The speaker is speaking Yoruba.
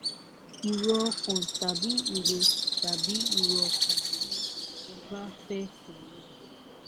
ìró ọkàn tàbí ìró tàbí ìró ọkàn bí ẹ bá fẹ pe ó